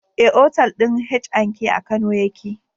Eh, otal ɗin H&K a kano yake